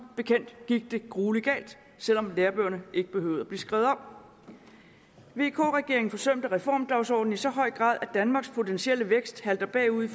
bekendt gik det gruelig galt selv om lærebøgerne ikke behøvede at blive skrevet om vk regeringen forsømte reformdagsordenen i så høj grad at danmarks potentielle vækst halter bagud i